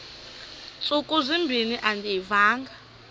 ntsuku zimbin andiyivanga